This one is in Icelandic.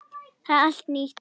Það er allt nýtt.